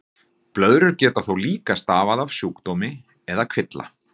Blöðrur geta þó líka stafað af sjúkdómi eða kvilla.